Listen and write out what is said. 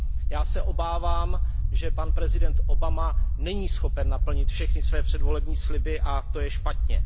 Já se obávám, že pan prezident Obama není schopen naplnit všechny své předvolební sliby, a to je špatně.